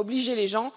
Il ne faut pas obliger les gens